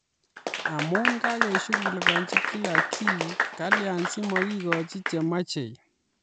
Amu kakeshukulikanjii kila kii kalya simakikochii che machei